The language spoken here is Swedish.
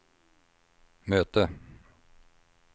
möte